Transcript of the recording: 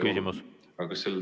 Küsimus!